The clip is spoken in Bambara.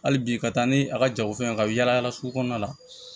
Hali bi ka taa ni a ka jagofɛn ye ka yaala yaala sugu kɔnɔna la